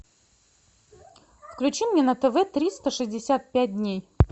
включи мне на тв триста шестьдесят пять дней